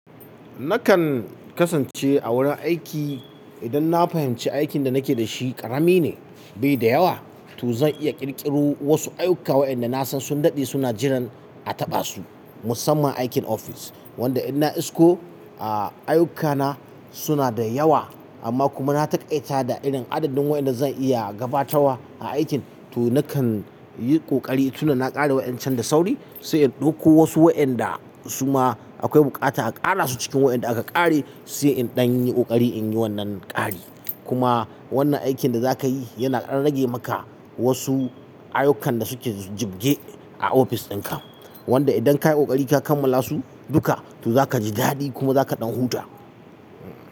Nakan kasance a wurin aiki idan na fahimci aikin da nake da shi ƙarami ne bai da yawa to zan iya ƙirƙiro wasu ayyuka waɗanda na san sun daɗe suna jiran a taɓa su musamman aikin ofis wanda in na isko a ayyukana suna da yawa amma kuma na taƙaita da irin adadin waɗanda zan iya gabatawa a aikin to nakan yi ƙoƙari tun da na ƙara waƴancan da sauri sai in ɗauko wasu waƴanda suma akwai buƙata a ƙara su cikin waƴanda aka ƙare sai in ɗan yi ƙoƙari in yi wannan ƙari. Kuma wannan aikin da za ka yi yana rage maka wasu ayyukan da suke jibge a ofis ɗinka wanda idan ka yi ƙoƙari ka kammala su duka to za ka ji daɗi kuma za ka ɗan huta.